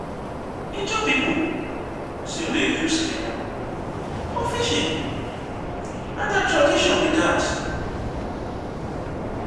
ijaw pipo still dey use canoe for fishing na their tradition be dat.